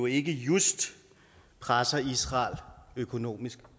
ikke just presser israel økonomisk